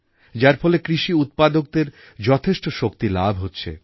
যার ফলে কৃষিউৎপাদকদের যথেষ্ট শক্তি লাভ হচ্ছে